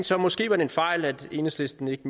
så måske var en fejl altså at enhedslisten ikke